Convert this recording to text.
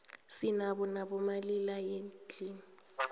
sinabo nabo malila nyendlini